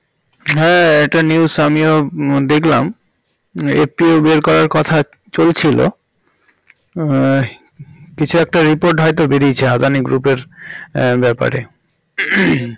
হ্যাঁ এটা news আমিও দেখলাম একটু বের করার কথা চলছিল আহ কিছু একটা report হয়তো বেরিয়েছে আদানি group এর আহ ব্যাপারে